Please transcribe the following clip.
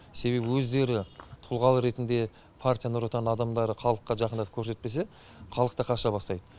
себебі өздері тұлға ретінде партия нұр отан адамдары халыққа жақындық көрсетпесе халық та қаша бастайды